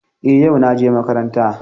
Eh, yau naje makaranta.